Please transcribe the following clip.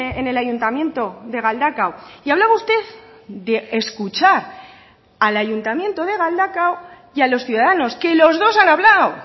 en el ayuntamiento de galdakao y hablaba usted de escuchar al ayuntamiento de galdakao y a los ciudadanos que los dos han hablado